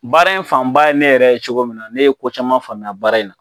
Baara in fan ba ye ne yɛrɛ ye cogo min na, ne ye ko caman famu baara in na.